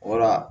Wala